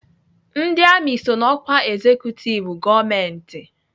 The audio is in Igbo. Ndị amị so na ọkwa ezekutiv gọọmentị.